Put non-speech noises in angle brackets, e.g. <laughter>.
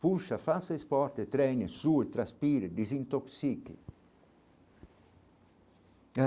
Poxa, faça esporte, treine, sue, transpire, desintoxique. <unintelligible>